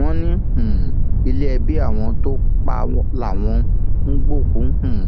wọn ní um ilé ẹbí àwọn tó pa á làwọn ń gbé òkú um